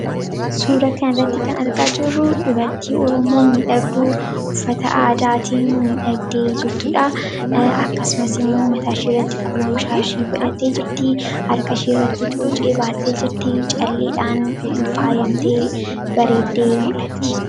Suuraa kanarratti kan arginu dubartii Oromoo miidhagduu uffata aadaatiin miidhagdee jirtudha. Akkasumas immoo mataa ishee irratti qolomshaashii godhattee jirti. Harka ishee irratti cuucii godhattee jirti, akkasummas calleedhaan faayamtee bareeddee mul'atti.